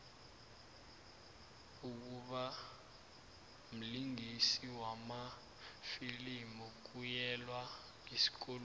ukubamlingisi wamafilimu kuyelwa esikolweni